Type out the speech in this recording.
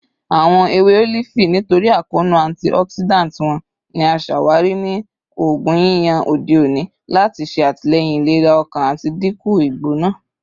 Awọn ewe olifi, nitori akoonu antioxidant wọn, ni a ṣawari ni oogun yiyan ode oni lati ṣe atilẹyin ilera ọkan ati dinku igbona